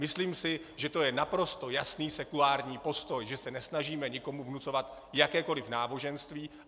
Myslím si, že to je naprosto jasný sekulární postoj, že se nesnažíme nikomu vnucovat jakékoli náboženství.